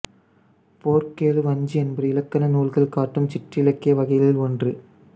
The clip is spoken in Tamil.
போர்க்கெழு வஞ்சி என்பது இலக்கண நூல்கள் காட்டும் சிற்றிலக்கிய வகைகளில் ஒன்று